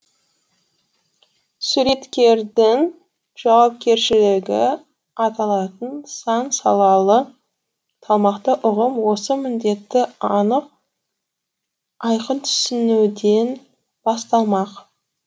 суреткердің жауапкершілігі аталатын сан салалы салмақты ұғым осы міндетті анық айқын түсінуден басталмақ